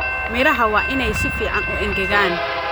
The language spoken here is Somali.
Miraha waa inay si fiican u engegaan